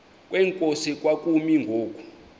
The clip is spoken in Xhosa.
kwenkosi kwakumi ngoku